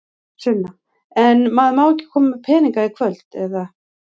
Sunna: En maður má ekki koma með peninga í kvöld, eða?